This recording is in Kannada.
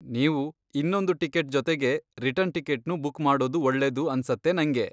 ನೀವು ಇನ್ನೊಂದು ಟಿಕೆಟ್ ಜೊತೆಗೆ ರಿಟರ್ನ್ ಟಿಕೆಟ್ನೂ ಬುಕ್ ಮಾಡೋದು ಒಳ್ಳೇದು ಅನ್ಸತ್ತೆ ನಂಗೆ.